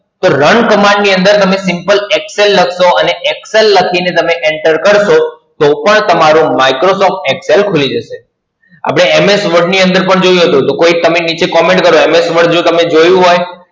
કે Run Command ની અંદર તમે Simple Excel લખશો અને Excel લખી ને તમે Enter કરશો, તો પણ તમારું Microsoft Excel ખૂલી જશે. હવે MS Word ની અંદર પણ જોયું હતું તો કોઈ તમે નીચે Comment કરો MS Word જો તમે જોયું હોય